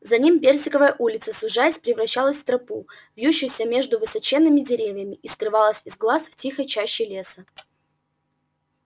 за ним персиковая улица сужаясь превращалась в тропу вьющуюся между высоченными деревьями и скрывалась из глаз в тихой чаще леса